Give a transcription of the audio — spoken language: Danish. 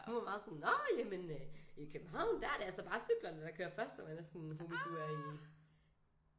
Hun var meget sådan nåh jamen i København der er det altså cyklerne der kører først og man sådan homie du er i